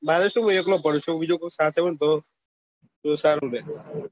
મારે શું છે એકલો બનશું બીજું ખાતર નું જાઉં તો સારું રે